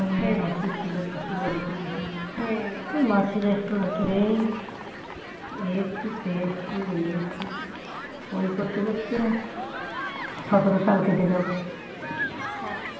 আমার মাসি ছিল আমি মাসির বাড়ি যেতাম মাসির একটু ওই আদুরে এই একটু সেই একটু ওই একটু ওই করতে করতে সতেরো সাল কেটে গেল